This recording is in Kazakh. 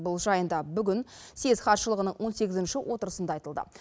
бұл жайында бүгін съез хатшылығының он сегізінші отырысында айтылды